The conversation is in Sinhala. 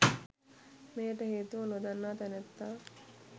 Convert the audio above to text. මෙයට හේතුව නොදන්නා තැනැත්තා